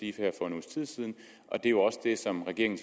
tid siden og det er også det som regeringen